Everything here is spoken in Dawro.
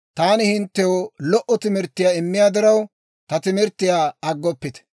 Taani hinttew lo"o timirttiyaa immiyaa diraw, ta timirttiyaa aggoppite.